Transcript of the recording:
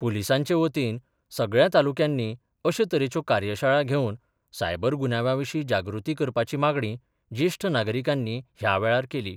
पुलिसांचे वतीन सगळ्या तालुक्यांनी अशे तरेच्यो कार्यशाळा घेवन सायबर गुन्यांवांविशी जागृती करपाची मागणी जेष्ठ नागरिकांनी ह्या वेळार केली.